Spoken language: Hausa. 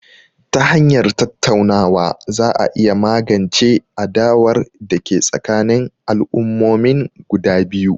Ta hanyar tattaunawa za a iya magance adawar da ke tsakanin al'ummomin guda biyu